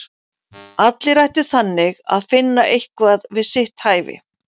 Allir ættu þannig að finna eitthvað við sitt hæfi!